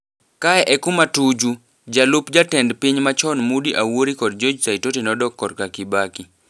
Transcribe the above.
Kae e kuma Tuju, jalup jatend piny machon Moody Awuori kod George Saitoti nodok korka Kibaki.